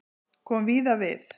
Kom víða við